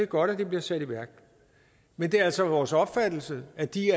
godt at de bliver sat i værk men det er altså vores opfattelse at de